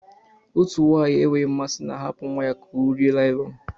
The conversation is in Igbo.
Otu nwanyị enweghị mmasị na-ahapụ nwa ya ka ọ rie naịlọn.